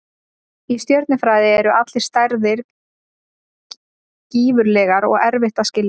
Í stjörnufræði eru allar stærðir gífurlegar og erfitt að skilja.